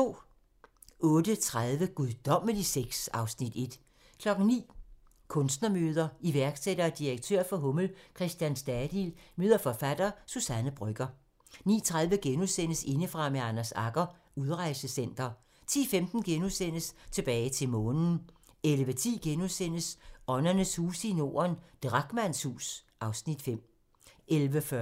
08:30: Guddommelig sex (Afs. 1) 09:00: Kunstnermøder: Iværksætter og direktør for Hummel, Christian Stadil møder forfatter Suzanne Brøgger 09:30: Indefra med Anders Agger - Udrejsecenter * 10:15: Tilbage til Månen * 11:10: Åndernes huse i Norden - Drachmanns hus (Afs. 5)* 11:40: